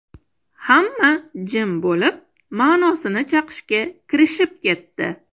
Hamma jim bo‘lib, ma’nosini chaqishga kirishib ketdi.